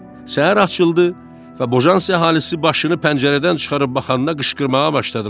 Səhər açıldı və Bojansi əhalisi başını pəncərədən çıxarıb baxanda qışqırmağa başladılar.